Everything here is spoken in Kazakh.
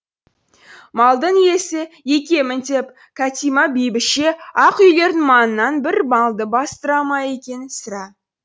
малдың иесі екемін деп кәтимә бәйбіше ақ үйлердің маңынан бір малды бастыра ма екен сірә